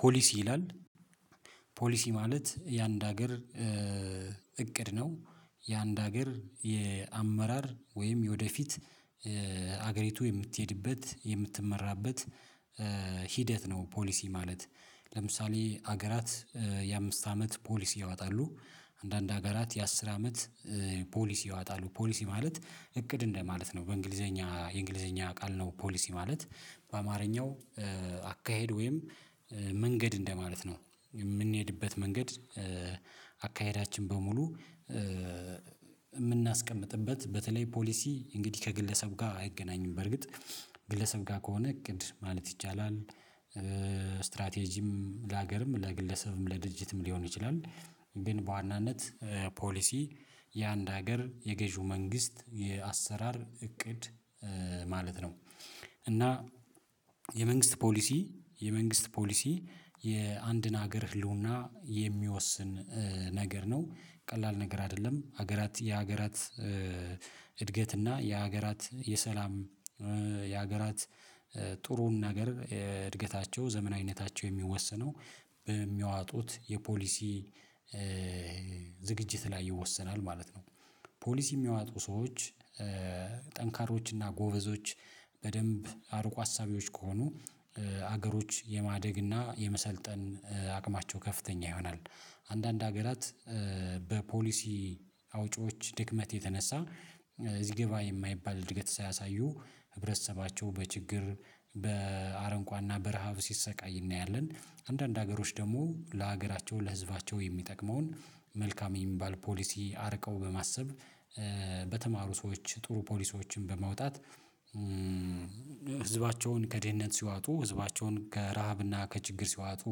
ፖሊሲ ይላል ፖሊሲ ማለት የአንድ ሀገር እቅድ ነው። የአንድ ሀገር የአመራር ወይም የወደፊት ሀገሪቱ የምትሄድበት የምትመራበት ሂደት ነው። ፖሊሲ ማለት ለምሳሌ ሀገራት የአምስት አመት ፖሊስ ያወጣሉ። አንዳንድ ሀገራት የአስር አመት ፖሊሲ ያወጣሉ ፖሊስ ማለት እቅድ እንደማለት ነው። በእንግሊዘኛ የእንግሊዘኛ ቃል ነው ፖሊሲ ማለት በአማርኛው አካሄድ ወይም መንገድ እንደማለት ነው። የምንሄድበት መንገድ። አካሄዳችን በሙሉ የምናስቀምጥበት በተለይ ፖሊሲ እንግዲህ ከግለሰብ ጋር አይገናኝም በርግጥ ግለሰብ ጋር ከሆነ እቅድ ማለት ይቻላል። ስትራቴጂም ለሀገርም ለግለሰብም ለድርጅትም ሊሆን ይችላል። ግን በዋናነት ፖሊሲ የአንድ ሀገር የገዢው መንግስት የአሰራር እቅድ ማለት ነው። እና የመንግስት ፖሊሲ የመንግስት ፖሊሲ የአንድን ሀገር ህልውና የሚወስን ነገር ነው። ቀላል ነገር አይደለም ሀገራት የሀገራት እድገት እና የሀገራት የሰላም የሀገራት ጥሩውን ነገር እድገታቸው ዘመናዊነታቸው የሚወሰነው በሚያወጡት የፖሊሲ ዝግጅት ላይ ይወሰናል ማለት ነው። ፖሊሲ የሚያወጡ ሰዎች ጠንካሮች እና ጎበዞች በደንብ አርቆ አሳቢዎች ከሆኑ ሀገሮች የማደግ እና የመሰልጠን አቅማቸው ከፍተኛ ይሆናል። አንዳንድ ሀገራት በፖሊሲ አውጪዎች ድክመት የተነሳ እዚህ ገባ የማይባል እድገት ሳያሳዩ ህብረተሰባቸውን በችግር በአረንቋና በረሃብ ሲሰቃይ እናያለን። አንዳንድ ሀገሮች ደግሞ ለሀገራቸው ለህዝባቸው የሚጠቅመውን መልካም የሚባል ፖሊሲ አርቀው በማሰብ በተማሩ ሰዎች ጥሩ ፖሊሲዎችን በማውጣት ህዝባቸውን ከድህነት ሲያወጡ ህዝባቸውን ከረሃብና ከችግር ሲያወጡ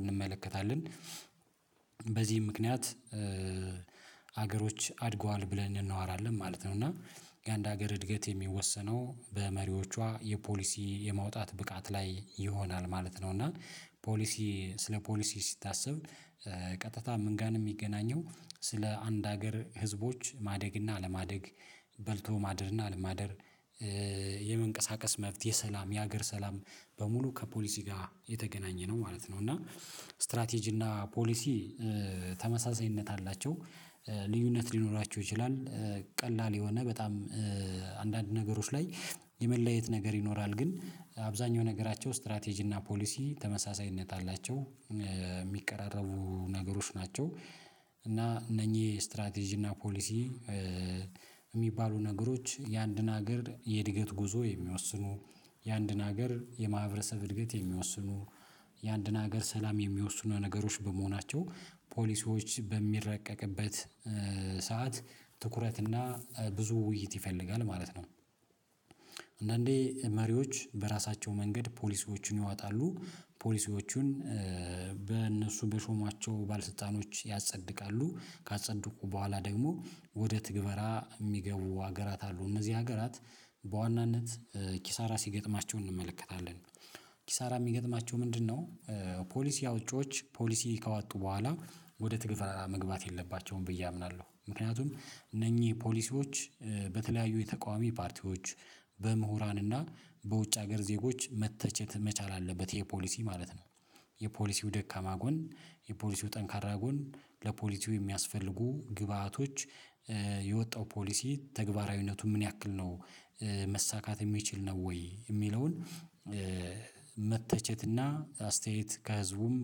እንመለከታለን። በዚህ ምክንያት ሀገሮች አድገዋል ብለን እናወራለን ማለት ነው። እና የአንድ ሀገር እድገት የሚወሰነው በመሪዎቿ የፖሊሲ የማውጣት ብቃት ላይ ይሆናል ማለት ነው። እና ፖሊሲ ስለ ፖሊሲ ሲታሰብ ቀጥታ ምን ጋር የሚገናኘው ስለ አንድ ሀገር ህዝቦች ማደግ እና አለማደግ በልቶ ማደር እና አለማደር የመንቀሳቀስ መብት የሰላም የሀገር ሰላም በሙሉ ከፖሊሲ ጋር የተገናኘ ነው ማለት ነው። እና ስትራቴጂ እና ፖሊሲ ተመሳሳይነት አላቸው ልዩነት ሊኖራቸው ይችላል። ቀላል የሆነ በጣም አንዳንድ ነገሮች ላይ የመለየት ነገር ይኖራል ግን አብዛኛው ነገራቸው ስትራቴጂ እና ፖሊሲ ተመሳሳይነት አላቸው የሚቀራረቡ ነገሮች ናቸው። እና እነኚህ ስትራቴጂ እና ፖሊሲ የሚባሉ ነገሮች የአንድን ሀገር የእድገት ጉዞ የሚወስኑ ያንድን ሀገር የማህበረሰብ እድገት የሚወስኑ ያንድን ሀገር ሰላም የሚወስኑ ነገሮች በመሆናቸው ፖሊሲዎች በሚረቀቅበት ሰዓት ትኩረት እና ብዙ ውይይት ይፈልጋል ማለት ነው። አንዳንዴ መሪዎች በራሳቸው መንገድ ፖሊሲዎችን ይዋጣሉ ፖሊሲዎችን በእነሱ በሾሟቸው ባልስልጣኖች ያጸድቃሉ ካጸድቁ በኋላ ደግሞ ወደ ትግበራ የሚገቡ ሀገራት አሉ እነዚህ ሀገራት በዋናነት ኪሳራ ሲገጥማቸው እንመለከታለን። ኪሳራ የሚገጥማቸው ምንድነው? ፖሊሲ አውጪዎች ፖሊሲ ከዋጡ በኋላ ወደ ትግበራ መግባት የለባቸውም ብዬ አምናለሁ ምክንያቱም እነኚህ ፖሊሲዎች በተለያዩ የተቃዋሚ ፓርቲዎች በምሁራን እና በውጭ ሀገር ዜጎች መተቸት መቻል አለበት የፖሊሲ ማለት ነው። የፖሊሲው ደካማ ጎን የፖሊሲው ጠንካራ ጎን ለፖሊሲው የሚያስፈልጉ ግብአቶች የወጣው ፖሊሲ ተግባራዊነቱ ምን ያክል ነው? መሳካት የሚችል ነው ወይ የሚለውን መተቸትና አስተያየት ከህዝቡም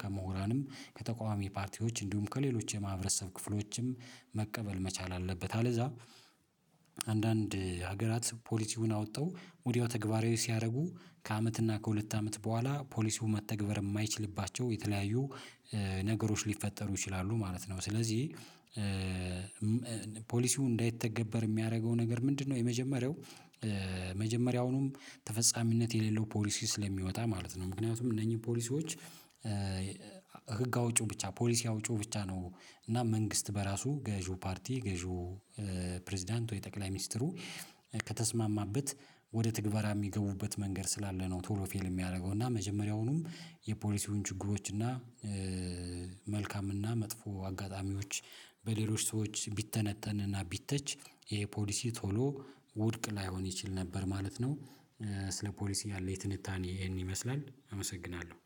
ከምሁራንም ከተቃዋሚ ፓርቲዎች እንዲሁም ከሌሎች የማህበረሰብ ክፍሎችም መቀበል መቻል አለበት። አለዛ አንዳንድ ሀገራት ፖሊሲውን አውተው ወዲያው ተግባራዊ ሲያደርጉ ከአመት እና ከሁለት አመት በኋላ ፖሊሲው መተግበር የማይችልባቸው የተለያዩ ነገሮች ሊፈጠሩ ይችላሉ ማለት ነው። ስለዚህ ፖሊሲው እንዳይተገበር የሚያደርገው ነገር ምንድነው? የመጀመሪያው መጀመሪያውንም ተፈጻሚነት የሌለው ፖሊሲ ስለሚወጣ ማለት ነው። ምክንያቱም እነኚህ ፖሊሲዎች ህግ አውጪው ብቻ ፖሊሲ አውጪው ብቻ ነው እና መንግስት በራሱ ገዢው ፓርቲ ገዢው ፕሬዝዳንቱ የጠቅላይ ሚስጥሩ ከተስማማበት ወደ ትግበራ የሚገቡበት መንገድ ስላለ ነው ቶሎ ፌል የሚያደርገው እና መጀመሪያውኑም የፖሊሲውን ችግሮች እና መልካም እና መጥፎ አጋጣሚዎች በሌሎች ሰዎች ቢተነተን እና ቢተች ይሄ ፖሊሲ ቶሎ ውድቅ ላይሆን ይችል ነበር ማለት ነው። ስለ ፖሊሲ ያለው የትንታኔ ይሄን ይመስላል አመሰግናለሁ